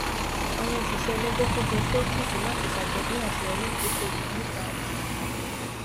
àwọn òṣìṣẹ ẹlẹgbẹ kójọ sí ọfísì láti ṣàjọpín àseyọrí ìdókòwò wọn nígbà oúnjẹ ọsán